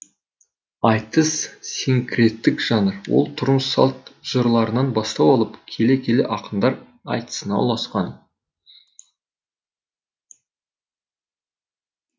айтыс синкреттік жанр ол тұрмыс салт жырларынан бастау алып келе келе ақындар айтысына ұласқан